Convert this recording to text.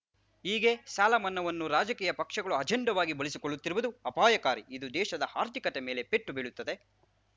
ಹೀಗೆ ಸಾಲಮನ್ನಾವನ್ನು ರಾಜಕೀಯ ಪಕ್ಷಗಳು ಅಜೆಂಡಾವಾಗಿ ಬಳಸಿಕೊಳ್ಳುತ್ತಿರುವುದು ಅಪಾಯಕಾರಿ ಇದು ದೇಶದ ಆರ್ಥಿಕತೆ ಮೇಲೆ ಪೆಟ್ಟು ಬೀಳುತ್ತದೆ